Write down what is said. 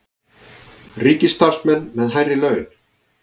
Ríkisstarfsmenn með hærri laun